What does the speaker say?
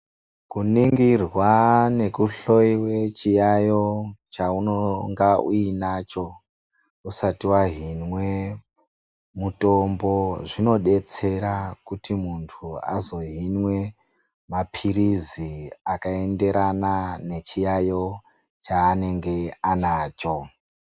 Kuningirwa nekuhloyiwe chiyaiyo chaunonga uinacho usati wahinwe mutombo zvinodetsera kuti muntu azohinwe maphirizi akaenderana nechiyayo chaanenge anacho.